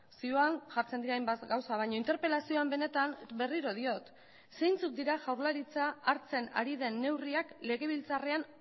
zioan jartzen dira hainbat gauza baina interpelazioan benetan berriro diot zeintzuk dira jaurlaritza hartzen ari den neurriak legebiltzarrean